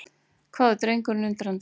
hváði drengurinn undrandi.